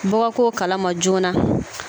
Bɔ ka kɛ o kalama joona na.